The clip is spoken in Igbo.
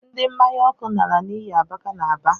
Ndi mmanya ọkụ nara n’iyi abaka n’Aba